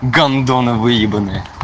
гондоны выебанные